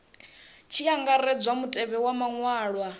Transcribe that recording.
tshi angaredzwa mutevhe wa maṅwalwa